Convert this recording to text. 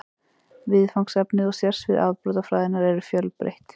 Viðfangsefni og sérsvið afbrotafræðinnar eru fjölbreytt.